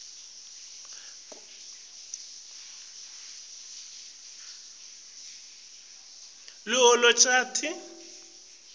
kutsi ukhombise liholonchanti